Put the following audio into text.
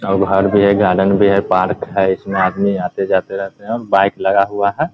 और घर भी है गार्डन भी है पार्क है इसमें आदमी आते-जाते रहते हैं बाइक लगा हुआ है ।